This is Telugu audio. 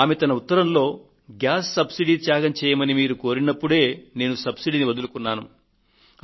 ఆమె తన ఉత్తరంలో గ్యాస్ సబ్సిడీని త్యాగం చేయండని మీరు కోరినప్పుడే నేను సబ్సిడీని వదులుకున్నాను